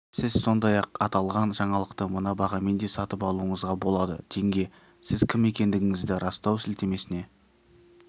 сіз сондай-ақ аталған жаңалықты мына бағамен де сатып алуыңызға болады теңге сіз кім екендігіңізді растау сілтемесіне